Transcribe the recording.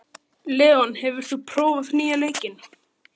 Leon, hefur þú prófað nýja leikinn?